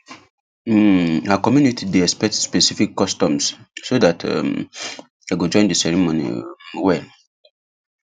um her community day expect specific customs so that um dem go join the ceremony um well